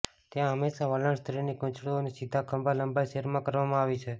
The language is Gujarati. ત્યાં હંમેશા વલણ સ્ત્રીની ગૂંચળું અને સીધા ખભા લંબાઈ સેર માં કરવામાં આવી છે